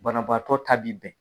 Banabaatɔ ta bi bɛn.